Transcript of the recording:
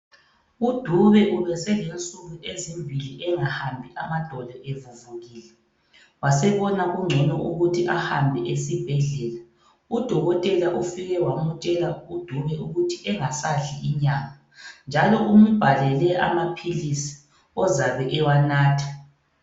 UDube ubeselensuku ezimbili engahambi, amadolo evuvukile. Wasebona kungcono ukuthi ahambe esibhedlela. UDokotela ufike wamtshela uDube ukuthi engasadli inyama njalo umbhalele amaphilizi ozabe ewanatha.